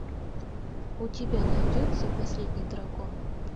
у тебя найдется последний дракон